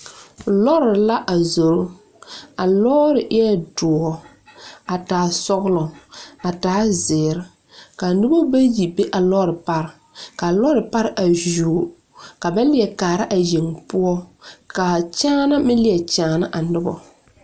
Lɔɔre la a zoro a lɔɔre eɛ doɔ a taa sɔglɔ a taa zeere ka noba bayi be a lɔɔre pare ka a lɔɔre pare a yuo ka ba leɛ kaara a yeŋ poɔ ka a kyaana meŋ leɛ kyaana a noba.